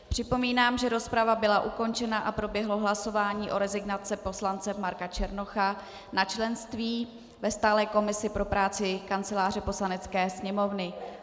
Připomínám, že rozprava byla ukončena a proběhlo hlasování o rezignaci poslance Marka Černocha na členství ve stálé komisi pro práci Kanceláře Poslanecké sněmovny.